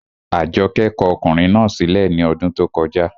Àjọkẹ́ kọ ọkùnrin náà sí lẹ̀ ní ọdún tó kọjá